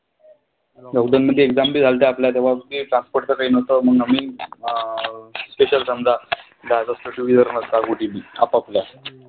Lockdown मध्ये exam भी झालत्या तेंव्हा transport कांही नव्हतं म्हणून आम्ही अं special समजा आपापल्या.